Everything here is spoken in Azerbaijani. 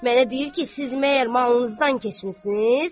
Mənə deyir ki, siz məgər malınızdan keçmisiniz?